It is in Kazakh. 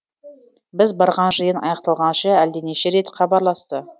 біз барған жиын аяқталғанша әлденеше рет хабарласты